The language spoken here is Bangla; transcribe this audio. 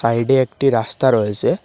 সাইডে একটি রাস্তা রয়েসে।